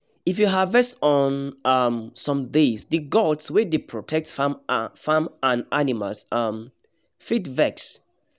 if you harvest on um some days the gods wey dey protect farm and animals um fit vex